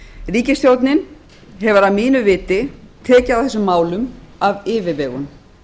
ríkisstjórnin hefur að mínu viti tekið á þessum málum af yfirvegun